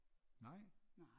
Nej